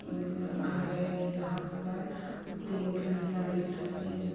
घर है। यहाँ पर तीन खिड़कियां दिख रही हैं।